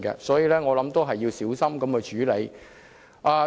所以，我認為應小心處理。